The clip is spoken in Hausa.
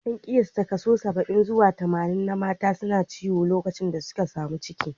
An kiyasta kaso saba'in zuwa tamanin na mata na ciwo lokacin da suka samu ciki